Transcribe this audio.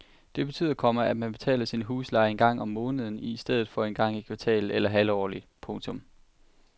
Det betyder, komma at man betaler sin husleje en gang om måneden i stedet for en gang i kvartalet eller halvårligt. punktum